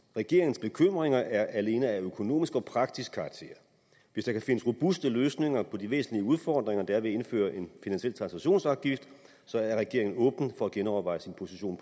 regeringens bekymringer er alene af økonomisk og praktisk karakter hvis der kan findes robuste løsninger på de væsentlige udfordringer der er ved at indføre en finansiel transaktionsafgift er regeringen åben for at genoverveje sin position